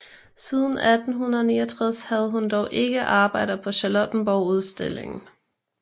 Siden 1869 havde hun dog ikke arbejder på Charlottenborgudstillingen